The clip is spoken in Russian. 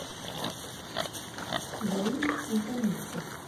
галине антоненко